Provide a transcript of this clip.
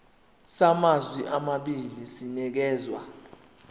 samazwe amabili sinikezwa